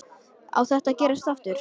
Á þetta eftir að gerast aftur?